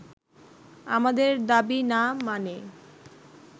আমাদের দাবি না মানে